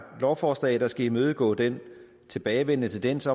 lovforslag der skal imødegå den tilbagevendende tendens